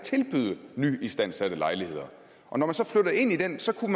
tilbyde nyistandsatte lejligheder og når man så flytter ind i den så kan